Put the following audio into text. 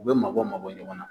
U bɛ mabɔ mabɔ ɲɔgɔn na